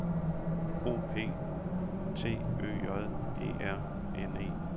O P T Ø J E R N E